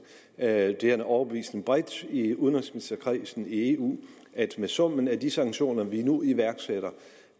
er en overbevisning bredt i udenrigsministerkredsen i eu at med summen af de sanktioner vi nu iværksætter